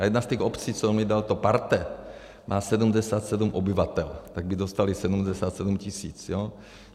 A jedna z těch obcí, co mi dal to parte, má 77 obyvatel, tak by dostali 77 tisíc, jo.